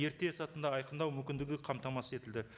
ерте сәтінде айқындау мүмкіндігі қамтамасыз етілді